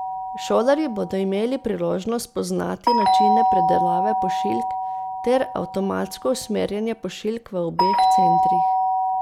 Šolarji bodo imeli priložnost spoznati načine predelave pošiljk ter avtomatsko usmerjanje pošiljk v obeh centrih.